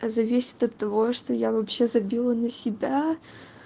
зависит от того что я вообще забила на себя